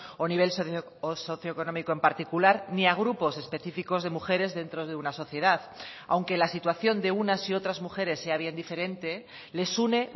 o nivel socioeconómico en particular ni a grupos específicos de mujeres dentro de una sociedad aunque la situación de unas y otras mujeres sea bien diferente les une